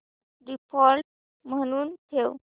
default म्हणून ठेव